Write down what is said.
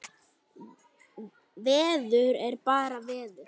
Veður er bara veður.